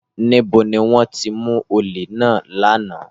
Níbo ni wọ́n ti mú olè náà lánàá?